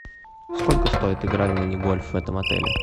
сколько стоит игра в мини гольф в этом отеле